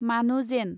मानु जेन